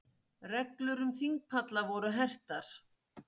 Reglur um þingpalla voru hertar